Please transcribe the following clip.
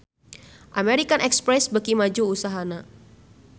American Express beuki maju usahana